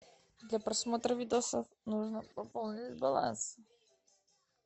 для просмотра видоса нужно пополнить баланс